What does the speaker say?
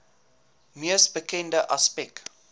mees bekende aspek